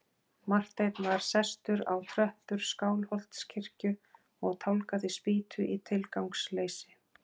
Marteinn var sestur á tröppur Skálholtskirkju og tálgaði spýtu í tilgangsleysi.